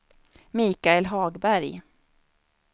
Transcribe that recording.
Michael Hagberg